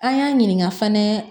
An y'a ɲininka fɛnɛ